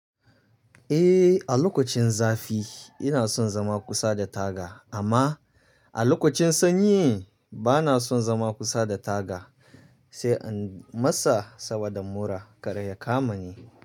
Eh, a lokacin zafi ina son zama kusa da taga amma a lokacin sanyi bana son zama kusa da taga sai an masa saboda mura kar ya kama ni.